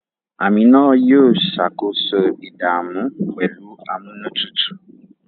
Amina yóò ṣàkóso ìdààmú pẹ̀lú amúnútutù